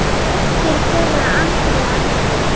Dóttir þeirra Andrea Rún.